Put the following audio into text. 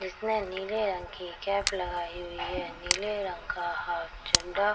इसने नीले रंग की कैप लगायी हुई है नीले रंग का हाफ चड्डा --